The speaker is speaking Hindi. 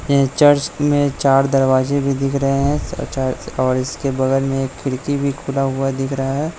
ये चर्च मे चार दरवाजे भी दिख रहे हे च चर्च और इसके बगल मे एक खिड़की भी खुला हुआ दिख रहा है।